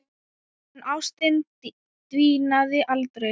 En ástin dvínaði aldrei.